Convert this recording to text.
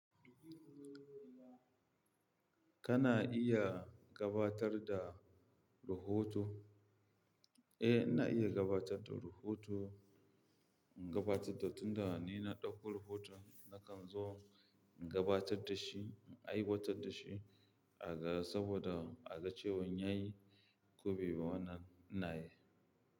Kana iya gabatar da rahoto? Eh, ina iya gabatar da rahoto. Gabatar da tun da ni na ɗauko rahoto nakan zo in gabatar da shi, in aiwatar da shi aga saboda aga cewan ya yi ko bai yi ba.